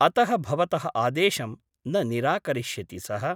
अतः भवतः आदेशं न निराकरिष्यति सः ।